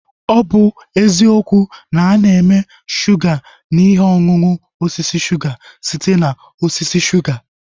Ọ bụ ezie na ana eme shuga na ihe ọṅụṅụ osisi suga site na osisi shuga